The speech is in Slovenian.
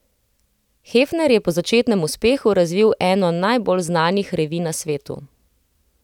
Hefner je po začetnem uspehu razvil eno najbolj znanih revij na svetu.